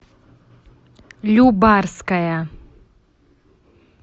любарская